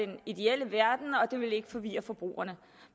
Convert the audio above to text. den ideelle verden og det ville ikke forvirre forbrugerne